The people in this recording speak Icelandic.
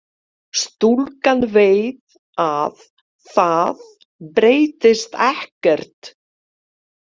Stúlkan veit að það breytist ekkert.